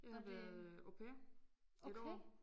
Jeg har været au pair et år